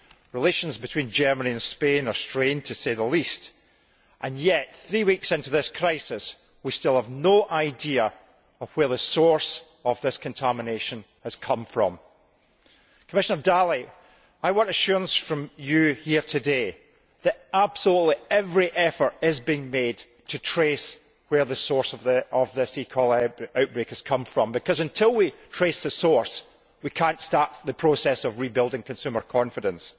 Relations between Germany and Spain are strained to say the least, and yet, three weeks into this crisis, we still have no idea of where the source of this contamination has come from. Commissioner Dalli, I want assurance from you here today that absolutely every effort is being made to trace where the source of this E coli outbreak has come from, because until we trace the source, we cannot start the process of rebuilding consumer confidence.